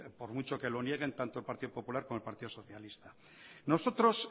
por mucho que lo nieguen tanto el partido popular como el partido socialista nosotros